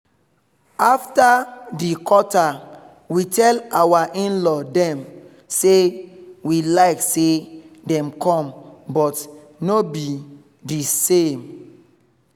after di quata we tell our in-law dem say we like say dem come but no be the same